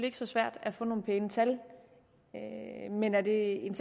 ikke så svært at få nogle pæne tal men er det